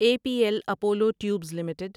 a P L Apollo tubes limited